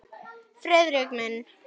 Friðrik minn!